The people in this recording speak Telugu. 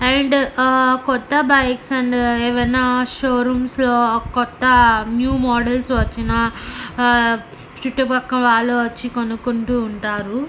అండ్ కొత్త బైక్స్ అండ్ ఏవన్నా షోరూంస్ లో కొత్త న్యూ మోడల్స్ వచ్చిన ఆ చుట్టూ పక్క వాళ్ళు వచ్చి కొనుకుంటు ఉంటారు.